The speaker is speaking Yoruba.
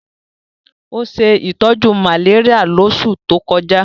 Ó ṣe ìtọ́jú malaria lóṣù tó kọjá